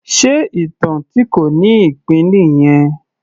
Ṣe ìtàn tí kò ní ìpín nìyẹn?